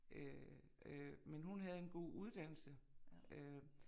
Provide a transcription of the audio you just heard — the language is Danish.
Øh øh men hun havde en god uddannelse øh